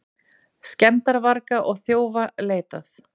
Skemmdarvarga og þjófa leitað